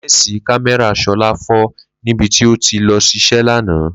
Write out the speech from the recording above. Lé̩ǹsì kámé̩rà S̩o̩lá fó̩ níbi tí ó ti lo̩ s̩is̩é̩ lánàá